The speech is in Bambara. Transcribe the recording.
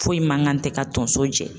Foyi mankan tɛ ka tonso jɛ